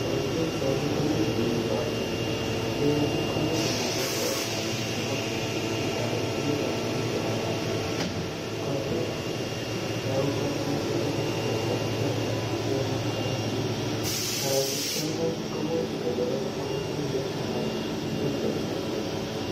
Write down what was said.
En pichaini komi biik ko, biik alak komi konome teta ago chito age komi konome kianda ak kotyet. Togu kole moche kochar teta bichuto sikomong korotik. Kotik choto komuch keye koichegen anan ketestai chego.